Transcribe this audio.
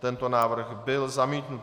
Tento návrh byl zamítnut.